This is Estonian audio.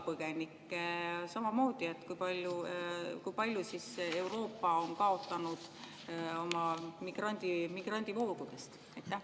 Põgenike samamoodi: kui palju siis Euroopasse migrandivood?